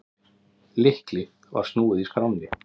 Lykli var snúið í skránni.